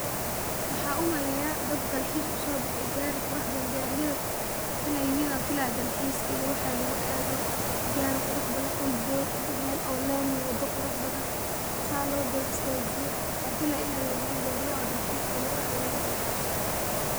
Waxan uu maleya dad dalxiis uso bexe gaari qurux badan gaariyada inay yihiin ayan filaya dalxiiska iyo waxa lugu aado, gaari qurux badan dhul dooge Mel oo laami wada qurux badan sa loo garab istajiye, waxan filaya inay yahan gaariyaha dalxiiska lugu aado oo lugu dalxiiso